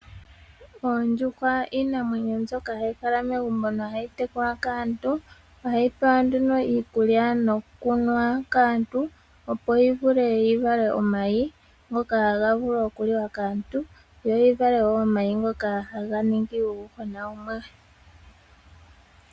Oondjuhwa iinamwenyo mbyoka hayi kala megumbo nohayi tekulwa kaantu ohayi pewa nduno iikulya noku nwa kaantu opp yi vule yi vale omayi ngoka haga vulu oku liwa kaantu yo yi vale omayi ngoka haga ningi uuyuhwena wumwe.